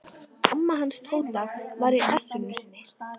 Það er þá verst fyrir þá sjálfa.